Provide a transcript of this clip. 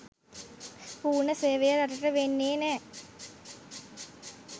පුර්ණ සේවය රටට වෙන්නේ නැ.